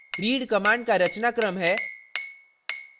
read command का रचनाक्रम है